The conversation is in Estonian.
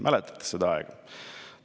Mäletate seda aega?